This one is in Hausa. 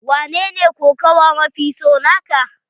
Wanene kokawa mafi so na ka?